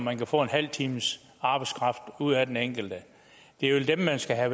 man kan få en halv times arbejdskraft ud af den enkelte det er dem man skal